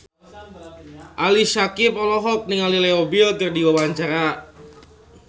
Ali Syakieb olohok ningali Leo Bill keur diwawancara